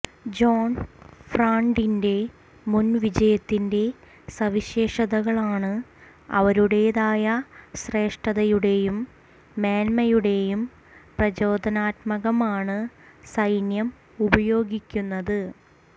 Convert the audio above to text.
John ഫ്രാണ്ടിന്റെ മുൻ വിജയത്തിന്റെ സവിശേഷതകളാണ് അവരുടേതായ ശ്രേഷ്ഠതയുടേയും മേന്മയുടേയും പ്രചോദനാത്മകമാണ് സൈന്യം ഉപയോഗിക്കുന്നത്